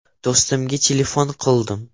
Do‘stimga telefon qildim.